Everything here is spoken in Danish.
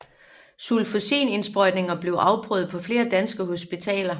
Sulfosinindsprøjtning blev afprøvet på flere danske hospitaler